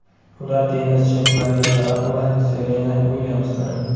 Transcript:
Ular tennischi Mariya Sharapova va Serena Uilyamsdir.